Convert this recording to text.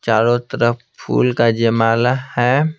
चारों तरफ फूल का जयमाला है।